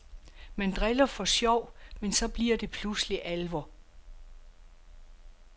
Man driller for sjov, men så bliver det pludselig alvor.